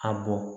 A bɔn